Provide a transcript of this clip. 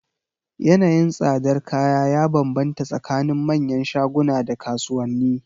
Yanayin tsadar kaya ya banbanta tsakanin manyan shaguna da kasuwanni.